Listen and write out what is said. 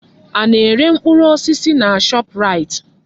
Ana-ere mkpụrụ osisi na Shọpraịt?